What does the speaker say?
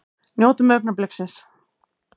Njótum augnabliksins!